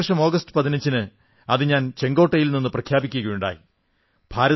ഈ വർഷം ആഗസ്റ്റ് 15 ന് ഞാൻ ചുവപ്പുകോട്ടയിൽ നിന്ന് പ്രഖ്യാപിക്കുകയുണ്ടായി